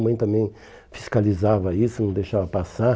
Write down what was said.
A mãe também fiscalizava isso, não deixava passar.